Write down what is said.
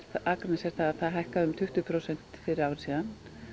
Akranes er að það hækkaði um tuttugu prósent fyrir ári síðan